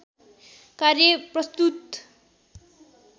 कार्य प्रस्तुत